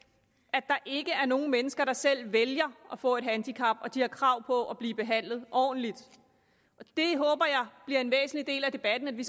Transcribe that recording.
at der ikke er nogen mennesker der selv vælger at få et handicap og at de har krav på at blive behandlet ordentligt at det bliver en væsentlig del af debatten at vi